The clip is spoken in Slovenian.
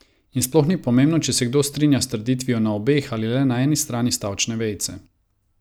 In sploh ni pomembno, če se kdo strinja s trditvijo na obeh ali le na eni strani stavčne vejice.